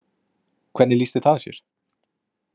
Hvernig lýsti það sér?